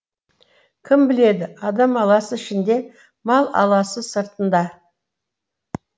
кім біледі адам аласы ішінде мал аласы сыртында